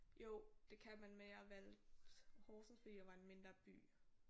Jo det kan man men jeg valgte Horsens fordi det var en mindre by